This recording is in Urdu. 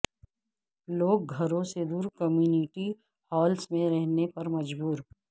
لوگ گھروں سے دور کمیونٹی ہالس میں رہنے پر مجبور